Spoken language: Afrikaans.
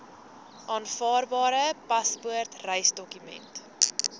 aanvaarbare paspoort reisdokument